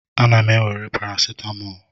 Ana m ewere paracetamol.